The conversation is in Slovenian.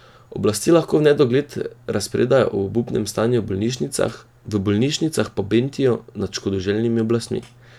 Oblasti lahko v nedogled razpredajo o obupnem stanju v bolnišnicah, v bolnišnicah pa bentijo nad škodoželjnimi oblastmi.